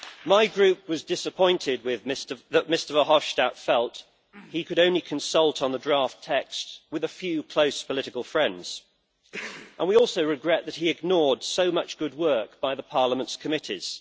My group was disappointed that Mr Verhofstadt felt he could only consult on the draft text with a few close political friends. We also regret that he ignored so much good work by the Parliament's committees.